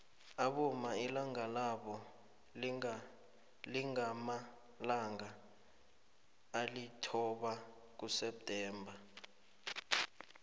abomma ilanga labo lingamalanga alithoba kuseptember